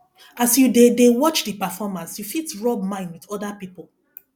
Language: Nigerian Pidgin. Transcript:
as you dey dey watch di performance you fit rub mind with oda pipo